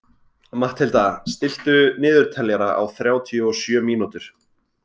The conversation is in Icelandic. Matthilda, stilltu niðurteljara á þrjátíu og sjö mínútur.